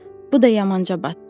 Bu da yamanca batdı.